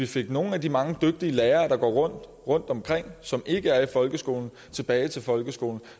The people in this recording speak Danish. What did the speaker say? fik nogle af de mange dygtige lærere der går rundt rundtomkring og som ikke er i folkeskolen tilbage til folkeskolen